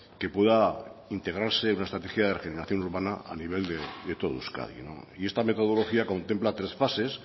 que pueda integrarse en una estrategia de regeneración urbana a nivel de todo euskadi y esta metodología contempla tres fases